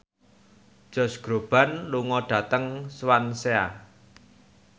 Josh Groban lunga dhateng Swansea